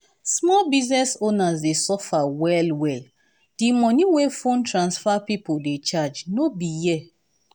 small business owners dey suffer well-well di money wey phone transfer pipo dey charge no be here.